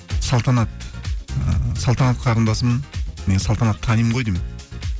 салтанат ы салтанат қарындасым мен салтанатты танимын ғой деймін